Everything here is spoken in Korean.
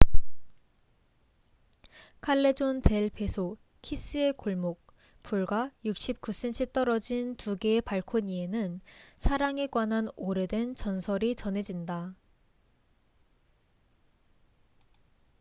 칼레존 델 베소키스의 골목. 불과 69cm 떨어진 두 개의 발코니에는 사랑에 관한 오래된 전설이 전해진다